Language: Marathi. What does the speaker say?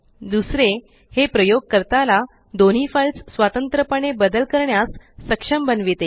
दुसरे हे प्रयोगकर्ता ला दोन्ही फाइल्स स्वतंत्र पणे बदल करण्यास सक्षम बनविते